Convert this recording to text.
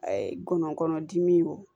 A ye ngɔnɔnkɔnɔdimi o